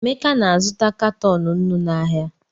Emeka na-azụta katọn nnu n’ahịa.